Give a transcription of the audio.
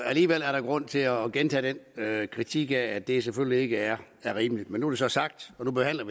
alligevel er der grund til at gentage den kritik af at det selvfølgelig ikke er rimeligt men nu så sagt og nu behandler